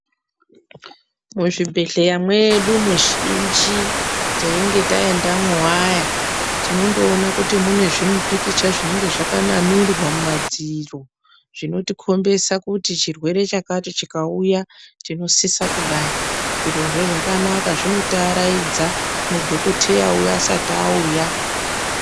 Muzvibhedhleya mwedu muzhinji teinge taendamwo vaya tinondoona kuti mune zvimupikicha zvinenge zvakanamirwa mumadziro. Zvinotikombesa kuti chirwere chakati chikauya chinosisa kudai, zvirozvo zvakanaka zvinotiaraidza mudhokoteyavo asati auya.